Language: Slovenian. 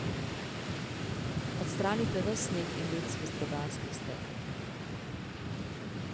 Odstranite ves sneg in led z vetrobranskih stekel.